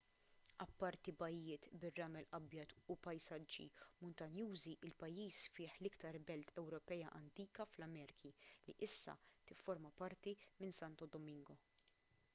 apparti bajjiet bir-ramel abjad u pajsaġġi muntanjużi il-pajjiż fih l-iktar belt ewropea antika fl-amerki li issa tifforma parti minn santo domingo